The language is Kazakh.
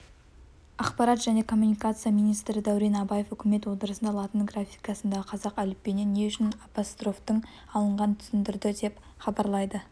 ақпарат және коммуникация министрі дәурен абаев үкімет отырысында латын графикасындағы қазақ әліпбиінен не үшін апострофтың алынғанын түсіндірді деп хабарлайды